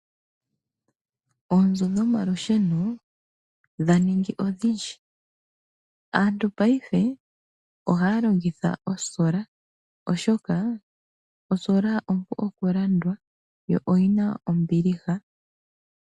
Oonzo dhomalusheno dha ningi odhindji. Aattu paife oha ya longitha olusheno lwoketango oshoka olupu oku landwa lwo olu na ombiliha.